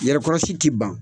Yɛrɛkɔrɔsi tɛ ban